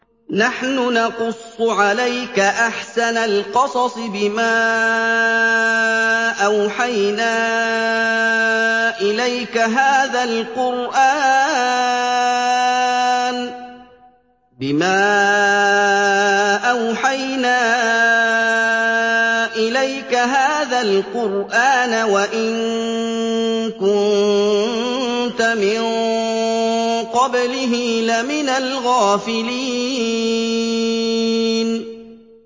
نَحْنُ نَقُصُّ عَلَيْكَ أَحْسَنَ الْقَصَصِ بِمَا أَوْحَيْنَا إِلَيْكَ هَٰذَا الْقُرْآنَ وَإِن كُنتَ مِن قَبْلِهِ لَمِنَ الْغَافِلِينَ